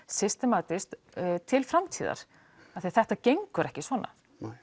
systematískt til framtíðar af því að þetta gengur ekki svona